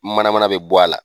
Mana mana bɛ bɔ a la.